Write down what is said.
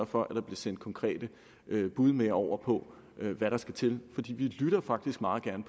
for at der bliver sendt konkrete bud med over på hvad der skal til fordi vi lytter faktisk meget gerne